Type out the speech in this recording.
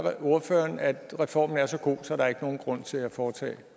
ordføreren at reformen er så god at der ikke er nogen grund til at foretage